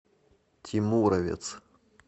тимуровец